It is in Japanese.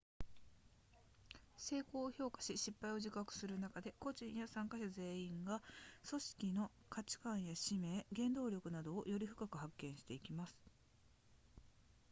成功を評価し失敗を自覚する中で個人や参加者全体が組織の価値観や使命原動力などをより深く発見していきます